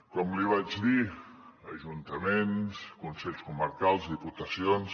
com li vaig dir ajuntaments consells comarcals diputacions